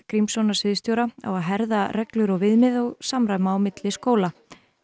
Grímssonar sviðstjóra á að herða reglur og viðmið og samræma á milli skóla